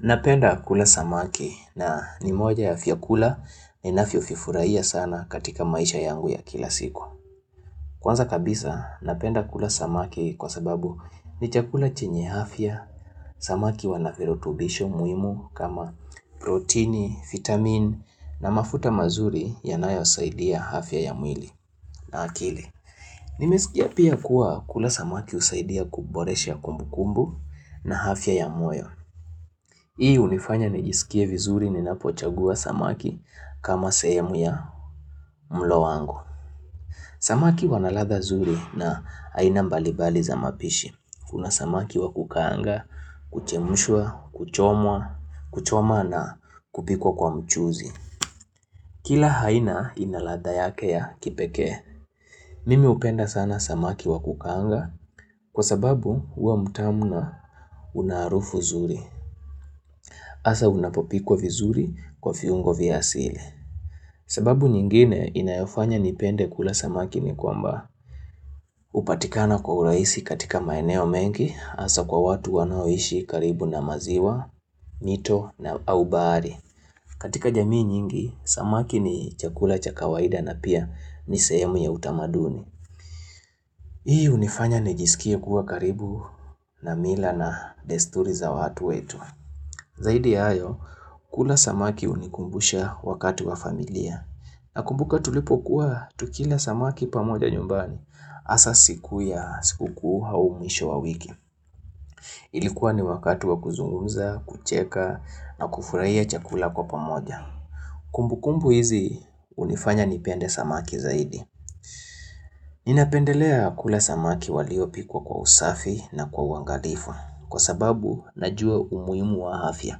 Napenda kula samaki na nimoja ya fiakula ninafio fifuraiya sana katika maisha yangu ya kila siku. Kwanza kabisa napenda kula samaki kwa sababu ni chakula chenye hafya, samaki wanaferotubisho muimu kama proteini, vitamin na mafuta mazuri yanayo usaidia hafya ya mwili na hakili. Nimesikia pia kuwa kula samaki usaidia kuboresha kumbu kumbu na hafya ya moyo. Hii unifanya nijisikie vizuri ninapochagua samaki kama sehemu ya mlo wangu. Samaki wanalatha zuri na haina mbalibali za mapishi. Kuna samaki wakukanga, kuchemushua, kuchomwa, kuchomwa na kupikwa kwa mchuzi. Kila haina inalatha yake ya kipekee. Mimi upenda sana samaki wakukanga kwa sababu uwa mutamuna unaharufu zuri. Asa unapopikwa vizuri kwa fiungo vya asili. Sababu nyingine inayofanya nipende kula samaki ni kwamba. Upatikana kwa uraisi katika maeneo mengi asa kwa watu wanaoishi karibu na maziwa, mito na au bahari. Katika jamii nyingi, samaki ni chakula chakawaida na pia nisehemu ya utamaduni. Hii unifanya nijisikia kuwa karibu na mila na desturi za watu wetu. Zaidi ya hayo, kula samaki unikumbusha wakati wa familia, na kumbuka tulipokuwa tukila samaki pamoja nyumbani, asa siku ya siku kuu aumwisho wa wiki. Ilikuwa ni wakati wa kuzungumza, kucheka na kufurahia chakula kwa pamoja. Kumbukumbu hizi unifanya nipende samaki zaidi. Ninapendelea kula samaki waliopikwa kwa usafi na kwa uangalifu, kwa sababu najua umuimu wa hafya.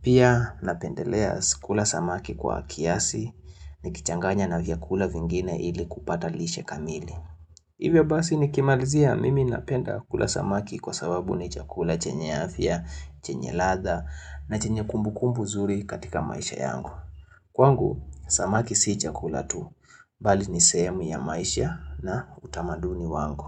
Pia napendelea kula samaki kwa kiasi ni kichanganya na vyakula vingine ili kupata lishe kamili. Hivyo basi nikimalizia mimi napenda kula samaki kwa sababu ni chakula chenye afya, chenye ladha na chenye kumbu kumbu zuri katika maisha yangu. Kwangu, samaki si chakula tu, bali ni sehemu ya maisha na utamaduni wangu.